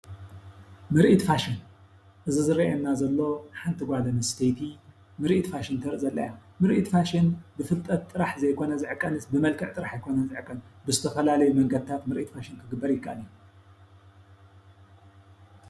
ምራኢት ፋሽን እዚ ዝረኣየና ዘሎ ሓንቲ ጓል ኣነስተይቲ ምራኢት ፋሽን ተራኢ ዘላ እያ። ምራኢት ፋሽን ብፍልጠት ጥራሕ ዘይኮነ ዝዕቀንስ ብመልክዕ ጥራሕ ኣይኮነን ዝዕቐን ብዝተፈላለዩ መንገድታት ምራኢት ፋሽን ክግበር ይካኣል እዩ።